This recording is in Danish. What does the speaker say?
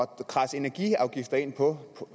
kradse energiafgifter ind på